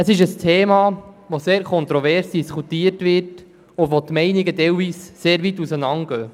Es ist ein Thema, bei dem die Meinungen teilweise sehr weit auseinandergehen.